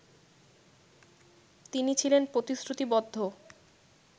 তিনি ছিলেন প্রতিশ্রুতিবদ্ধ